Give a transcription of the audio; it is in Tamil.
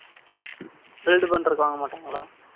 build பண்றதுக்கு வாங்க மாட்டாங்களா?